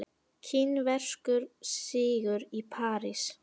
Kínverskur sigur í París